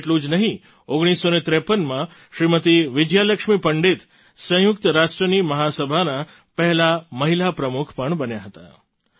એટલું જ નહીં 1953માં શ્રીમતી વિજયા લક્ષ્મી પંડિત સંયુક્ત રાષ્ટ્રની મહા સભાનાં પહેલાં મહિલા પ્રમુખ પણ બન્યાં હતાં